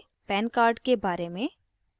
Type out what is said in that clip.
pan card के बारे में